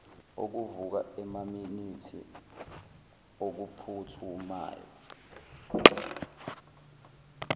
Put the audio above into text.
okuvuka emaminithini okuphuthumayo